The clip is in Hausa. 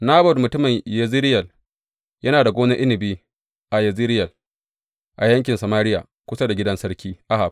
Nabot mutumin Yezireyel yana da gonar inabi a Yezireyel, a yankin Samariya, kusa da gidan Sarki Ahab.